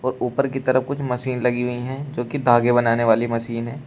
ऊपर की तरफ कुछ मशीन लगी हुई है जो की धागे बनाने वाली मशीन है।